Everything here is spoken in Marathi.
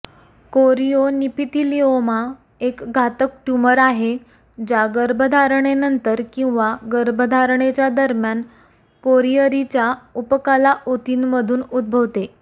कोरियोनिपिथिलिओमा एक घातक ट्यूमर आहे ज्या गर्भधारणेनंतर किंवा गर्भधारणेच्या दरम्यान कोरिअरीच्या उपकला ऊतींमधून उद्भवते